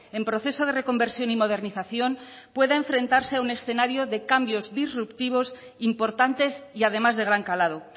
en proceso de reconversión y modernización pueda enfrentarse a un escenario de cambios disruptivos importantes y además de gran calado